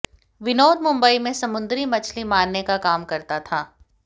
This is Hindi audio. विनोद मुंबई में समुद्री मछली मारने का काम करता था